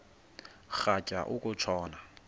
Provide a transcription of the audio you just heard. rhatya uku tshona